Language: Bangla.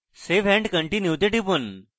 save and continue তে টিপুন